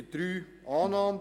Ziffer 3: Annahme;